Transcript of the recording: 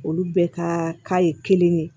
Olu bɛɛ ka k'a ye kelen ye